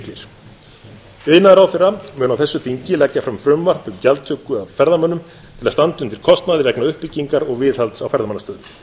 miklir iðnaðarráðherra mun á þessu þingi leggja fram frumvarp um gjaldtöku af ferðamönnum til að standa undir kostnaði vegna uppbyggingar og viðhalds á ferðamannastöðum